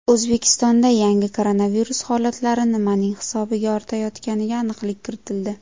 O‘zbekistonda yangi koronavirus holatlari nimaning hisobiga ortayotganiga aniqlik kiritildi.